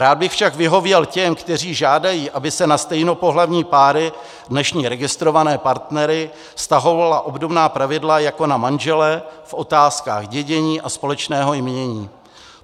Rád bych však vyhověl těm, kteří žádají, aby se na stejnopohlavní páry, dnešní registrované partnery, vztahovala obdobná pravidla jako na manžele v otázkách dědění a společného jmění.